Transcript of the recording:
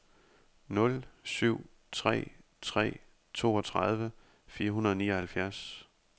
nul syv tre tre toogtredive fire hundrede og nioghalvfjerds